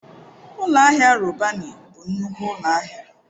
Ụlọ ahịa Robanị bụ nnukwu ụlọ ahịa.